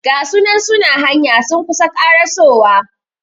Gasunan suna hanya sun kusa karasowa